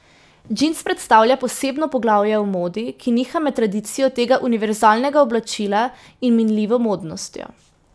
Džins predstavlja posebno poglavje v modi, ki niha med tradicijo tega univerzalnega oblačila in minljivo modnostjo.